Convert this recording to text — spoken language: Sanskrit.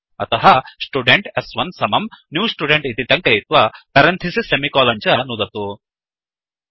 अतः स्टुडेन्ट् स्1 समम् न्यू स्टुडेन्ट् इति टङ्कयित्वा पेरन्थिसिस् सेमिकोलन् च नुदतु